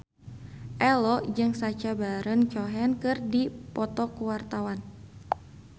Ello jeung Sacha Baron Cohen keur dipoto ku wartawan